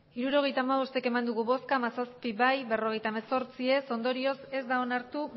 hirurogeita hamabost eman dugu bozka hamazazpi bai berrogeita hemezortzi ez ondorioz ez da onartu